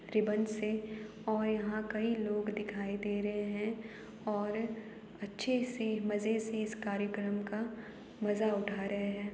Ribbon से और यहाँ कई लोग दिखाई दे रहें है और यहाँ अच्छे से मज़े से कार्यक्रम का मजा उठा रहे हैं।